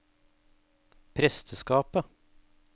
presteskapet